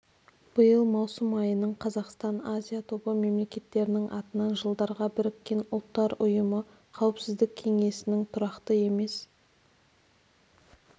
биыл маусым айының қазақстан азия тобы мемлекеттерінің атынан жылдарға біріккен ұлттар ұйымы қауіпсіздік кеңесінің тұрақты емес